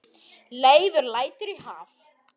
Leifur lætur í haf